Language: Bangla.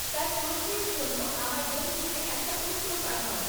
তার প্রশ্নের জন্য আমার বন্ধুকে একটা উত্তর পাঠাও